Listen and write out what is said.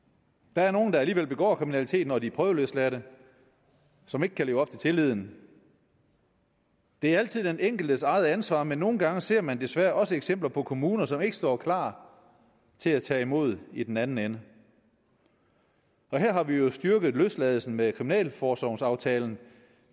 der er nogle der alligevel begår kriminalitet når de er prøveløsladt som ikke kan leve op til tilliden det er altid den enkeltes eget ansvar men nogle gange ser man desværre også eksempler på kommuner som ikke står klar til at tage imod i den anden ende og her har vi jo styrket løsladelsen med kriminalforsorgsaftalen